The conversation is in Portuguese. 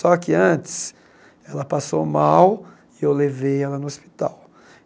Só que antes, ela passou mal e eu levei ela no hospital.